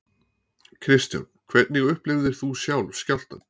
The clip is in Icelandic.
Kristján: Hvernig upplifðir þú sjálf skjálftann?